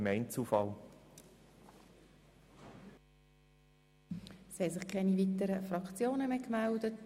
Es haben sich keine weiteren Fraktionen mehr gemeldet.